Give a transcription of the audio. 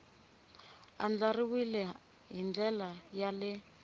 andlariwile hi ndlela ya le